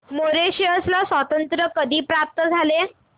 Mauritius ला स्वातंत्र्य कधी प्राप्त झाले